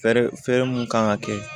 Fɛɛrɛ fɛrɛ mun kan ka kɛ